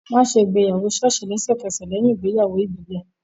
Wọ́n á ṣe ìgbéyàwó ṣọ́ọ̀ṣì lẹ́sẹ̀kẹsẹ̀ lẹ́yìn ìgbéyàwó ìbílẹ̀